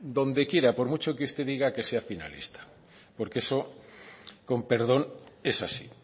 donde quiera por mucho que usted diga que sea finalista porque eso con perdón es así